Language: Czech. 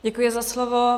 Děkuji za slovo.